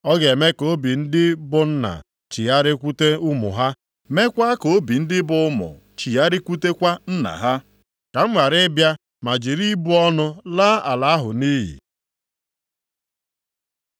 Ọ ga-eme ka obi ndị bụ nna chigharịkwute ụmụ ha, meekwa ka obi ndị bụ ụmụ chigharịkwutekwa nna ha; ka m ghara ịbịa ma jiri ịbụ ọnụ laa ala ahụ nʼiyi.”